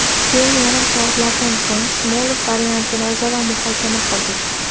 Keyin yarim soatlardan so‘ng Smolov variantini o‘zaro muhokama qildik.